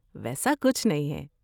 ویسا کچھ نہیں ہے۔